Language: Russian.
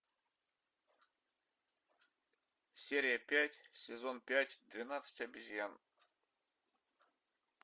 серия пять сезон пять двенадцать обезьян